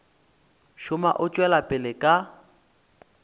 šoma o tšwela pele ka